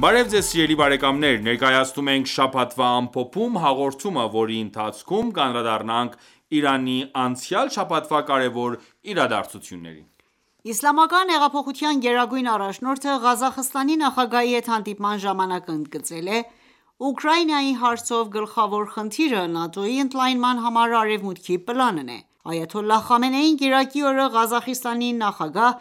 Բարև Ձեզ սիրելի բարեկամներ: Ներկայացնում ենք «Շաբաթվա ամփոփում» հաղորդումը, որի ընթացքում կանդրադառնանք Իրանի անցյալ շաբաթվա կարևոր իրադարձություններին: Իսլամական հեղափոխության գերագույն առաջնորդը Ղազախստանի նախագահի հետ հանդիպման ժամանակ ընդգծել է.«Ուկրաինայի հարցով գլխավոր խնդիրը ՆԱՏՕ-ի ընդլայնման համար արևմուտքի պլանն է»։ Այաթոլլահ Խամենեին կիրակի օրը Ղազախստանի նախագահ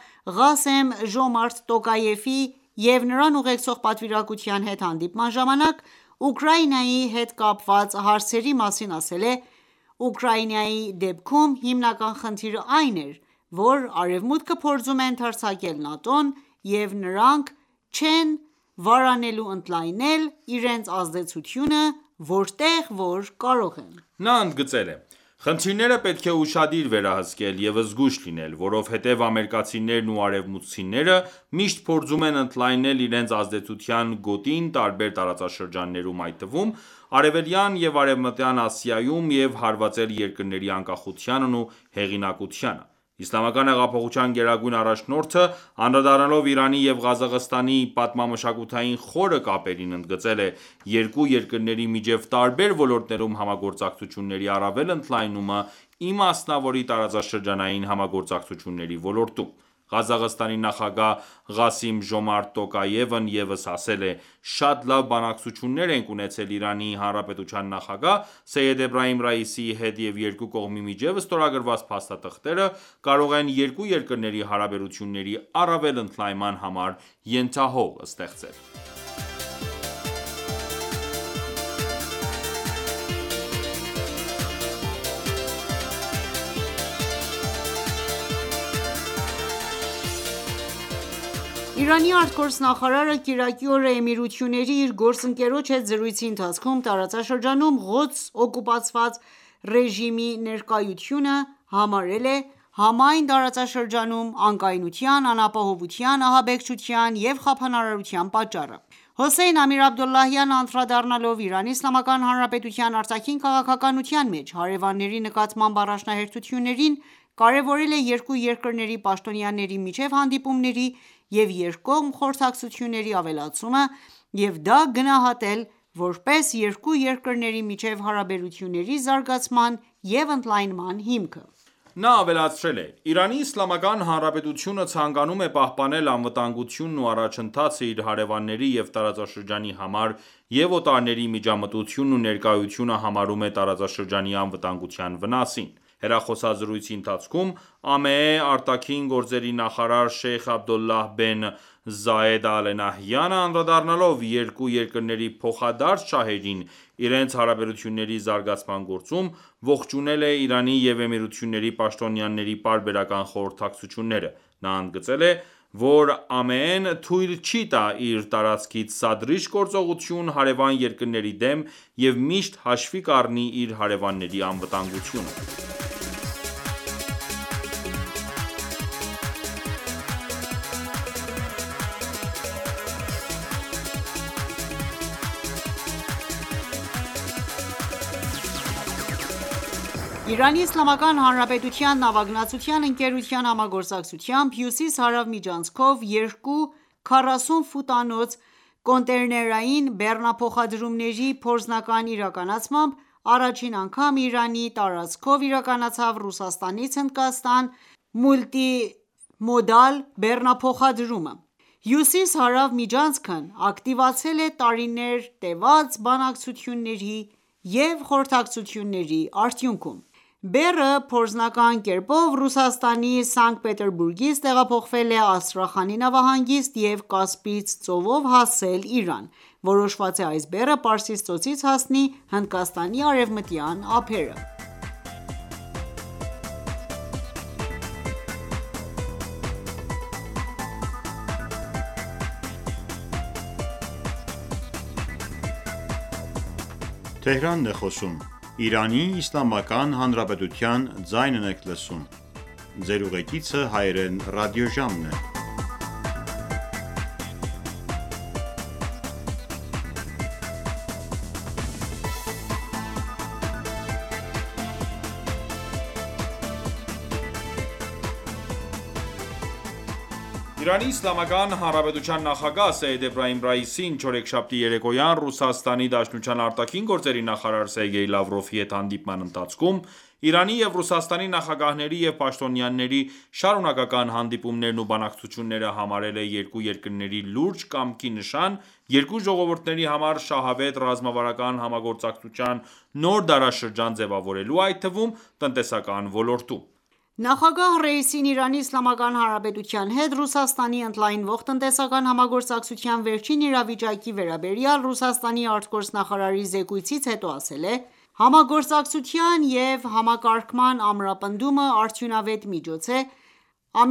Ղասեմ Ժոմարթ Տոկաևի և նրան ուղեկցող պատվիրակության հետ հանդիպման ժամանակ ,Ուկրաինայի հետ կապված հարցերի մասին ասել է.« Ուկրաինայի դեպքում հիմնական խնդիրն այն է, որ Արեւմուտքը փորձում է ընդարձակել ՆԱՏՕ-ն,և նրանք չեն վարանելու ընդլայնել իրենց ազդեցությունը, որտեղ որ կարող են»։ Նա ընդգծել է.«Խնդիրները պետք է ուշադիր վերահսկել և զգույշ լինել, որովհետև ամերիկացիներն ու արևմուտքցիները միշտ փորձում են ընդլայնել իրենց ազդեցության գոտին տարբեր տարածաշրջաններում, այդ թվում՝ արևելյան և արևմտյան Ասիայում, և հարվածել երկրների անկախությանն ու հեղինակությանը»։ Իսլամական հեղափոխության գերագույն առաջնորդը, անդրադառնալով Իրանի և Ղազախստանի պատմամշակութային խորը կապերին, ընդգծել է երկու երկրնեի միջև տարբեր ոլորտներում համագործակցությունների առավել ընդլայնումը ,ի մասնավորի տարածաշրջանային համագործակցությունների ոլորտում »: Ղազախստանի նախագահ Ղասիմ Ժոմարթ Տոկաեւն ևս ասել է.«Շատ լավ բանակցություններ ենք ունեցել Իրանի Հանրապետության նախագահ Սեյեդ Էբրահիմ Ռեյիսիի հետ և երկու կողմի միջև ստորագրված փաստաթղթերը կարող են երկու երկրների հարաբերությունների առավել ընդլայնման համար ենթահող ստեղծել»: Իրանի ԱԳ նախարարը կիրակի օրը Էմիրությունների իր գործընկերոջ հետ զրույցի ընթացքում ,տարածաշրջանում Ղոդսը օկուպացրած ռեժիմի ներկայությունը համարել է համայն տարածաշրջանում անկայունության, անապահովության, ահաբեկչության եւ խափանարարության պատճառը: Հոսեյն Ամիր-Աբդոլլահյանը, անդրադառնալով Իրանի Իսլամական Հանրապետության արտաքին քաղաքականության մեջ հարևանների նկատմամբ առաջնահերթություններին, կարևորել է երկու երկրների պաշտոնյաների միջև հանդիպումների և երկկողմ խորհրդակցությունների ավելացումը և դա գնահատել ,որպես երկու երկրների միջև հարաբերությունների զարգացման և ընդլայնման հիմք։ Նա ավելացրել է.«Իրանի Իսլամական Հանրապետությունը ցանկանում է պահպանել անվտանգությունն ու առաջընթացը իր հարևանների և տարածաշրջանի համար և օտարների միջամտությունն ու ներկայությունը համարում է տարածաշրջանի անվտանգության վնասին»: Հեռախոսազրույցի ընթացքում, ԱՄԷ արտաքին գործերի նախարար շեյխ Աբդոլլահ բեն Զայեդ Ալ Նահյանը, անդրադառնալով երկու երկրների փոխադարձ շահերին իրենց հարաբերությունների զարգացման գործում՝ողջունել է Իրանի և Էմիրությունների պաշտոնյաների պարբերական խորհրդակցությունները։ Նա ընդգծել է, որ ԱՄԷ-ն թույլ չի տա իր տարածքից սադրիչ գործողություն հարեւան երկրների դեմ և միշտ հաշվի կառնի իր հարեւանների անվտանգությունը։ Իրանի Իսլամական Հանրապետության նավագնացության ընկերության համագործակցությամբ, Հյուսիս-Հարավ միջանցքով երկու 40 ֆուտանոց կոնտեյներային բեռնափոխադրումների փորձնական իրականացմամբ, առաջին անգամ Իրանի տարածքով իրականացավ Ռուսաստանից Հնդկաստան մուլտիմոդալ բեռնափոխադրումը: Հյուսիս-Հարավ միջանցքն ակտիվացել է տարիներ տևած բանակցությունների և խորհրդակցությունների արդյունքում: Բեռը փորձնական կերպով Ռուսաստանի Սանկտ Պետերբուրգից տեղափոխվել է Աստրախանի նավահանգիստ և Կասպից ծովով հասել Իրան։ Որոշված է այս բեռը Պարսից ծոցից հասնի Հնդկաստանի արևմտյան ափերը: Իրանի Իսլամական Հանրապետության նախագահ Սեյեդ Էբրահիմ Ռեյիսին չորեքշաբթի երեկոյան Ռուսաստանի Դաշնության արտաքին գործերի նախարար Սերգեյ Լավրովի հետ հանդիպման ընթացքում, Իրանի և Ռուսաստանի նախագահների և պաշտոնյաների շարունակական հանդիպումներն ու բանակցությունները համարել է երկու երկրների լուրջ կամքի նշան՝ երկու ժողովուրդների համար շահավետ ռազմավարական համագործակցության նոր դարաշրջան ձևավորելու, այդ թվում՝ տնտեսական ոլորտում։ Նախագահ Ռայիսին Իրանի Իսլամական Հանրապետության հետ Ռուսաստանի ընդլայնվող տնտեսական համագործակցության վերջին իրավիճակի վերաբերյալ Ռուսաստանի արտգործնախարարի զեկույցից հետո ասել է.«Համագործակցության և համակարգման ամրապնդումը արդյունավետ միջոց է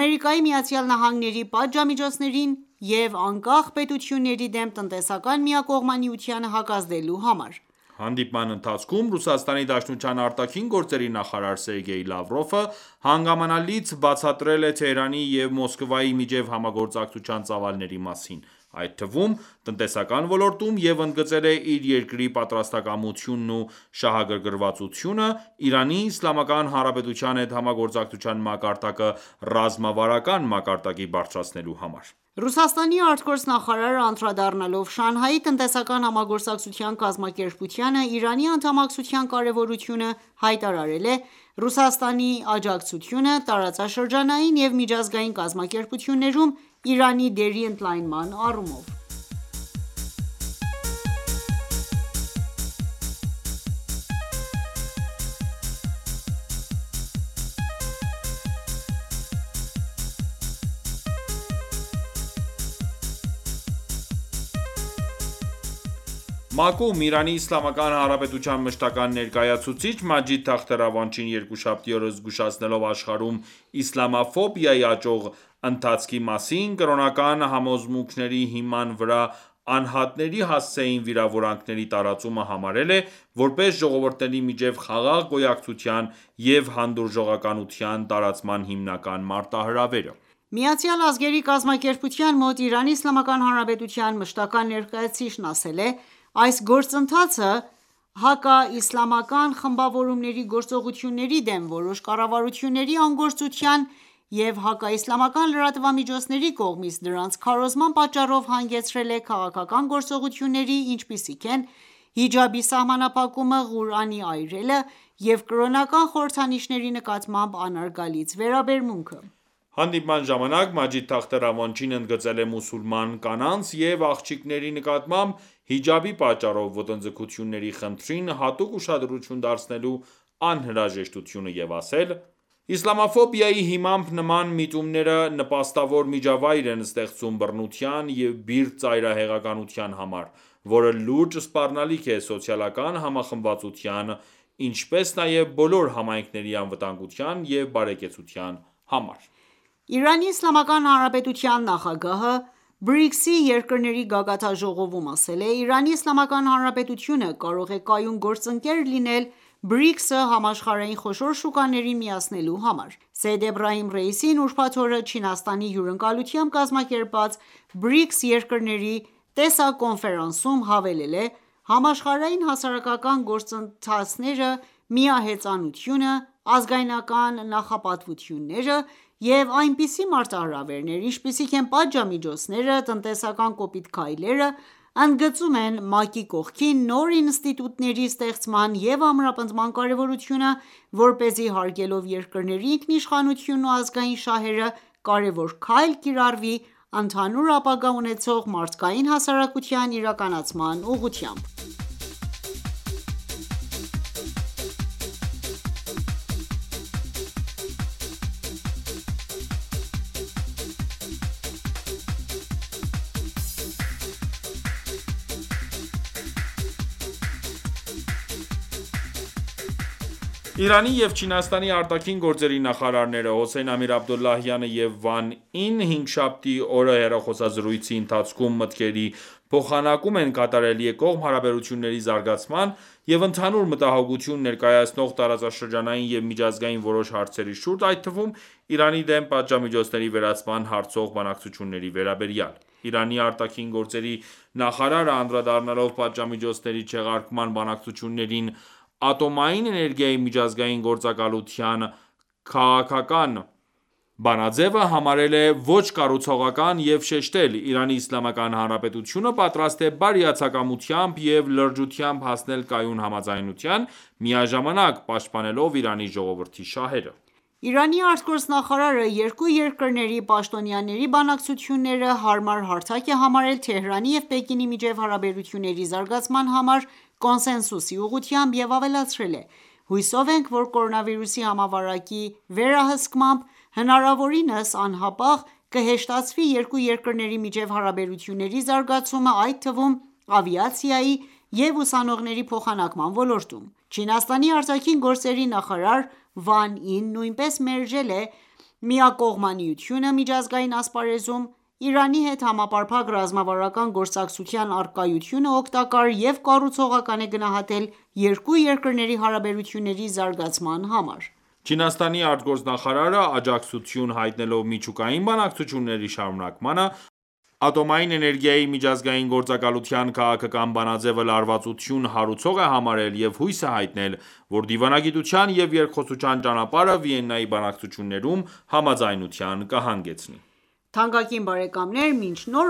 ԱՄՆ-ի պատժամիջոցներին և անկախ պետությունների դեմ տնտեսական միակողմանիությանը հակազդելու համար»: Հանդիպման ընթացքում ՌԴ ԱԳ նախարար Սերգեյ Լավրովը հանգամանալից բացատրել է Թեհրանի և Մոսկվայի միջև համագործակցության ծավալների մասին, այդ թվում՝ տնտեսական ոլորտում, և ընդգծել է իր երկրի պատրաստակամությունն ու շահագրգռվածությունը Իրանի Իսլամական Հանրապետության հետ համագործակցության մակարդակը ռազմավարական մակարդակի բարձրացնելու համար: Ռուսաստանի ԱԳ նախարարը անդրադառնալով Շանհայի տնտեսական համագործակցության կազմակերպությանը Իրանի անդամակցության կարևորությանը` հայտարարել է Ռուսաստանի աջակցությունը, տարածաշրջանային և միջազգային կազմակերպություններում Իրանի դերի ընդլայնման առումով: ՄԱԿ-ում Իրանի Իսլամական Հանրապետության մշտական ​​ներկայացուցիչ Մաջիդ Թախտ Ռավանչին երկուշաբթի օրը զգուշացնելով աշխարհում իսլամաֆոբիայի աճող ընթացքի մասին, կրոնական համոզմունքների հիման վրա անհատների հասցեին վիրավորանքների տարածումը համարել է, որպես ժողովուրդների միջև խաղաղ գոյակցության և հանդուրժողականության տարածման հիմնական մարտահրավերը: ՄԱԿ-ում Իրանի Իսլամական Հանրապետության մշտական ​​ներկայացուցիչն ասել է.«Այս գործընթացը, հակաիսլամական խմբավորումների գործողությունների դեմ որոշ կառավարությունների անգործության և հակաիսլամական լրատվամիջոցների կողմից դրանց քարոզման պատճառով, հանգեցրել է քաղաքական գործողությունների, ինչպիսիք են՝ հիջաբի սահմանափակումը, Ղուրանի այրելը և կրոնական խորհրդանիշների նկատմամբ անարգալից վերաբերմունքը»: Հանդիպման ժամանակ Մաջիդ Թախտ Ռավանչին ընդգծել է մուսուլման կանանց և աղջիկների նկատմամբ հիջաբի պատճառով ոտնձգությունների խնդրին հատուկ ուշադրություն դարձնելու անհրաժեշտությունը և ասել. է.«Իսլամաֆոբիայի հիմամբ նման միտումները ,նպաստավոր միջավայր են ստեղծում բռնության և բիրտ ծայրահեղականության համար, որը լուրջ սպառնալիք է սոցիալական համախմբվածության, ինչպես նաև բոլոր համայնքների անվտանգության և բարեկեցության համար»: Իրանի Իսլամական Հանրապետության նախագահը BRICS-ի երկրների գագաթնաժողովում ասել է.«Իրանի Իսլամական Հանրապետությունը կարող է կայուն գործընկեր լինել BRICS-ը համաշխարհային խոշոր շուկաներին միացնելու համար»: Սեյեդ Էբրահիմ Ռաիսին ուրբաթ օրը Չինաստանի հյուրընկալությամբ կազմակերպված BRICS երկրների տեսակոնֆերանսում հավելել է.«Համաշխարհային հակասական գործընթացները, միահեծանությունը, ազգայնական նախապատվությունները և այնպիսի մարտահրավերներ, ինչպիսիք են՝ պատժամիջոցները. տնտեսական կոպիտ քայլերը, ընդգծում են ՄԱԿ-ի կողքին նոր ինստիտուտների ստեղծման և ամրապնդման կարևորությունը, որպեսզի հարգելով երկրների ինքնիշխանությունն ու ազգային շահերը՝կարևոր քայլ կիրառվի «ընդհանուր ապագա ունեցող մարդկային հասարակության» իրականացման ուղղությամբ։ Իրանի և Չինաստանի արտաքին գործերի նախարարներ ՝ Հոսեյն Ամիր Աբդոլլահյանը և Վան Ին, հինգշաբթի օրը հեռախոսազրույցի ընթացքում մտքերի փոխանակում են կատարել երկկողմ հարաբերությունների զարգացման և ընդհանուր մտահոգություն ներկայացնող տարածաշրջանային և միջազգային որոշ հարցերի շուրջ, այդ թվում՝ Իրանի դեմ պատժամիջոցների վերացման հարցով բանակցությունների վերաբերյալ: Իրանի ԱԳ նախարարը անդրադառնալով պատժամիջոցների չեղարկման բանակցություններին, Ատոմային էներգիայի միջազգային գործակալության քաղաքական բանաձեւը համարել է ոչ կառուցողական և շեշտել.«Իրանի Իսլամական Հանրապետությունը պատրաստ է բարիացակամությամբ և լրջությամբ հասնել կայուն համաձայնության՝ միաժամանակ պաշտպանելով Իրանի ժողովրդի շահերը։ Իրանի ԱԳ նախարարը երկու երկրների պաշտոնյաների բանակցությունները հարմար հարթակ է համարել Թեհրանի և Պեկինի միջև հարաբերությունների զարգացման համար կոնսենսուսի ուղղությամբ և ավելացրել է.«Հուսով ենք, որ կորոնավիրուսի համավարակի վերահսկմամբ, հնարավորինս անհապաղ կհեշտացվի՝ երկու երկրների միջև հարաբերությունների զարգացումը, այդ թվում՝ ավիացիայի և ուսանողների փոխանակման ոլորտում»: Չինաստանի արտաքին գործերի նախարար Վան Ին նույնպես մերժել է միակողմանիությունը միջազգային ասպարեզում, Իրանի հետ համապարփակ ռազմավարական գործընկերության առկայությունը օգտակար և կառուցողական է գնահատել երկու երկրների հարաբերությունների զարգացման համար։ Չինաստանի արտգործնախարարը աջակցություն հայտնելով միջուկային բանակցությունների շարունակմանը ,Ատոմային էներգիայի միջազգային գործակալության քաղաքական բանաձևը լարվածություն հարուցող է համարել և հույս է հայտնել, որ դիվանագիտության և երկխոսության ճանապարհը Վիեննայի բանակցություններում համաձայնության կըհանգեցնի: Թանկագին բարեկամներ, մինչ նոր